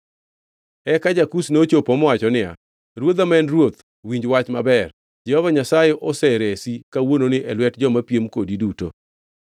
Eka ja-Kush nochopo mowacho niya, “Ruodha ma en ruoth, winj wach maber! Jehova Nyasaye oseresi kawuononi e lwet joma piem kodi duto.”